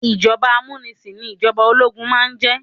Ìjọba amúnisìn ní ìjọba ológun máà ń jẹ́.